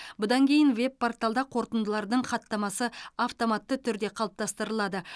бұдан кейін веб порталда қорытындылардың хаттамасы автоматты түрде қалыптастырылады